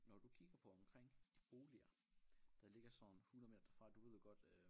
Når du kigger på omkring boliger der ligger sådan 100 meter derfra du ved godt øh